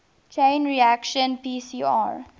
chain reaction pcr